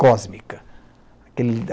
cósmica. Aquele